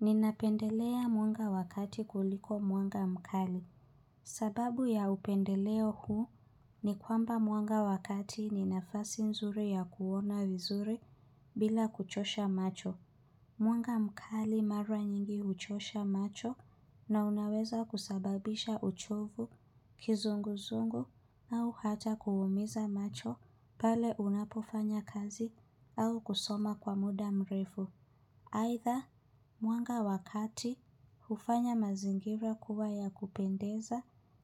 Ninapendelea mwanga wa kati kuliko mwanga mkali. Sababu ya upendeleo huu ni kwamba mwanga wa kati ni nafasi nzuri ya kuona vizuri bila kuchosha macho. Mwanga mkali mara nyingi huchosha macho na unaweza kusababisha uchovu, kizunguzungu au hata kuumiza macho pale unapofanya kazi au kusoma kwa muda mrefu. Aidha, mwanga wa kati hufanya mazingira kuwa ya kupendeza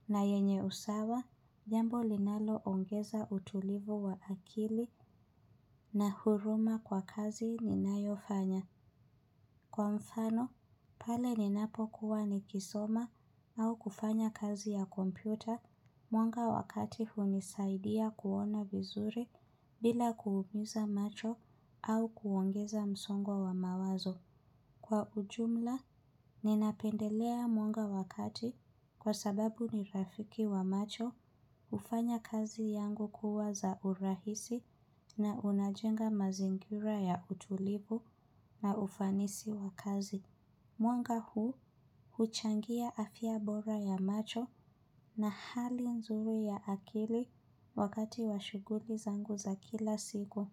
na yenye usawa, jambo linaloongeza utulivu wa akili na huruma kwa kazi ninayofanya. Kwa mfano, pale ninapokuwa nikisoma au kufanya kazi ya kompyuta, mwanga wa kati hunisaidia kuona vizuri bila kuumiza macho au kuongeza msongo wa mawazo. Kwa ujumla, ninapendelea mwanga wa kati kwa sababu ni rafiki wa macho hufanya kazi yangu kuwa za urahisi na unajenga mazingira ya utulivu na ufanisi wa kazi. Mwanga huu huchangia afya bora ya macho na hali nzuri ya akili wakati wa shughuli zangu za kila siku.